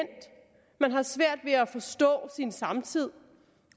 man har svært ved at forstå sin samtid